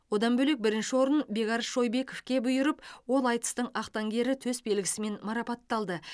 одан бөлек бірінші орын бекарыс шойбековке бұйырып ол айтыстың ақтаңгері төсбелгісімен марапатталды